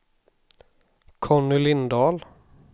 Conny Lindahl